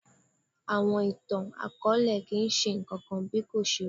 Àwọn ìtàn-akọọlẹ kii ṣe nkankan bí kò ṣe irọ.